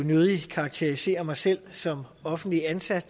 nødig karakterisere mig selv som offentlig ansat